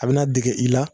A bɛna dege i la